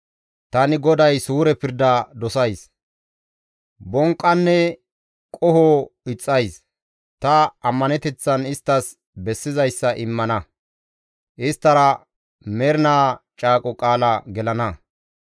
Tani GODAY suure pirda dosays; bonqqanne qoho ixxays. Ta ammaneteththan isttas bessizayssa immana; isttara mernaa caaqo qaala gelana.